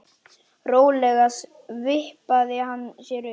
Rólega vippaði hann sér upp.